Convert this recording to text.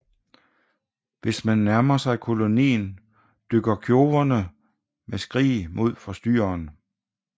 Hvis man nærmer sig kolonien dykker kjoverne med skrig mod forstyrreren